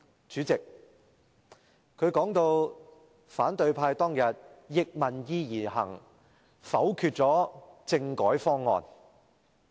主席，她說反對派當天逆民意而行，否決政改方案。